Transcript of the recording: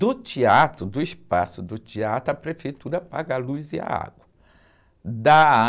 Do teatro, do espaço do teatro, a prefeitura paga a luz e a água. Da...